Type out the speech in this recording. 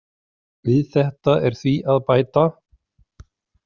Við þetta er því að bæta.